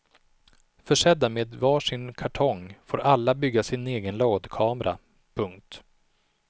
Försedda med varsin kartong får alla bygga sin egen lådkamera. punkt